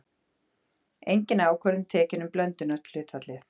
Engin ákvörðun tekin um blöndunarhlutfallið.